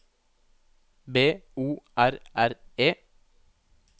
B O R R E